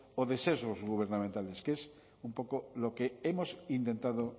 o de sesgos gubernamentales que es un poco lo que hemos intentado